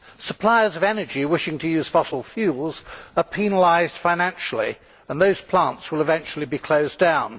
Suppliers of energy wishing to use fossil fuels are penalised financially, and those plants will eventually be closed down.